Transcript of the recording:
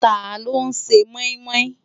Táló n sè moimoi?